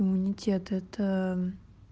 иммунитет это